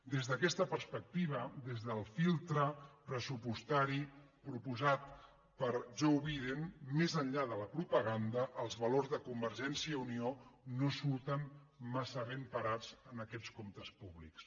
des d’aquesta perspectiva des del filtre pressupostari proposat per joe biden més enllà de la propaganda els valors de convergència i unió no surten massa ben parats en aquests comptes públics